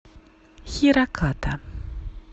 хираката